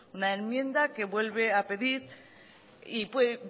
una enmienda que vuelve a pedir y